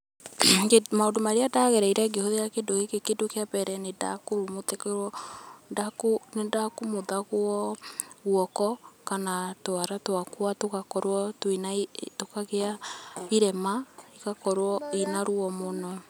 Maũndũ marĩa ndagereire ngĩhũthĩra kĩndũ gĩkĩ, kĩndũ kĩa mbere nĩndakumuthagwo guoko kana twara twakwa tũgakorwo twĩna, tũkagĩa irema, igakorwo ina ruo mũno.